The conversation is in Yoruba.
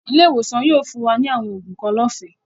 Ilẹ̀-iwosan yóò fún wa ni awọn oogun kan lọ́fẹ̀